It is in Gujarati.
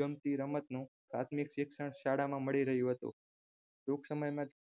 ગમતી રમતનું પ્રાથિમક શિક્ષણ શાળામાં મળી રહ્યું હતું ટૂંક સમજ્યમાંજ